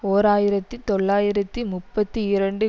ஓர் ஆயிரத்தி தொள்ளாயிரத்தி முப்பத்தி இரண்டு